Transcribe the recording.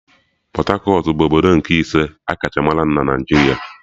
Pọt-akọt bụ obodo nke ise akacha mara na Naijiria